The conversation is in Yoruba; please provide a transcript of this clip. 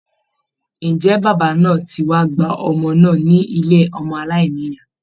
Ǹjẹ́ bàbá náà ti wá gba ọmọ náà ní ilé ọmọ aláìnìyá?